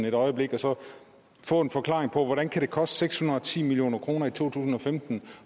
et øjeblik og så få en forklaring på hvordan det kan koste seks hundrede og ti million kroner i to tusind og femten